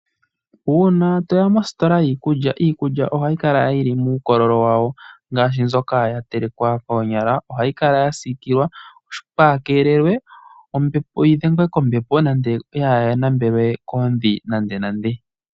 Uuna toya mositola yiikulya, iikulya ohayi kala yili muukololo wawo ngaashi mbyoka yatelekwa koonyala . Ohayi kala yasiikilwa yikeelelwe kaayi dhengwe kombepo nenge yaanambelwe koondhi nandenande